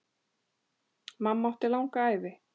Mamma átti langa ævi.